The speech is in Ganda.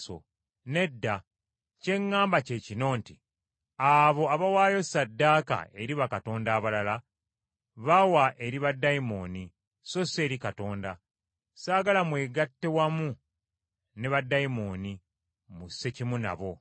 Nedda. Kye ŋŋamba kye kino nti abo abawaayo ssaddaaka eri bakatonda abalala bawa eri baddayimooni so si eri Katonda. Saagala mwegatte wamu ne baddayimooni mussekimu nabo.